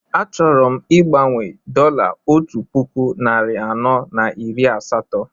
Achọrọ m igbanwe dọla otu puku narị anọ na iri asatọ